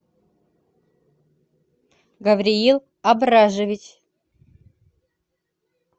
гавриил абражевич